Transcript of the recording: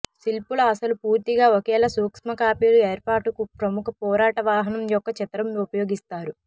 శిల్పుల అసలు పూర్తిగా ఒకేలా సూక్ష్మ కాపీలు ఏర్పాటుకు ప్రముఖ పోరాట వాహనం యొక్క చిత్రం ఉపయోగిస్తారు